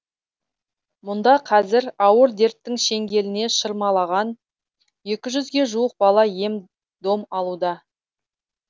мұнда қазір ауыр дерттің шеңгеліне шырмалған екіжүзге жуық бала ем дом алуда